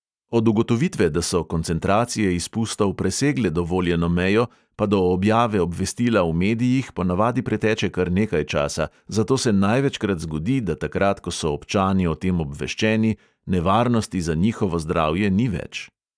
Od ugotovitve, da so koncentracije izpustov presegle dovoljeno mejo, pa do objave obvestila v medijih ponavadi preteče kar nekaj časa, zato se največkrat zgodi, da takrat, ko so občani o tem obveščeni, nevarnosti za njihovo zdravje ni več.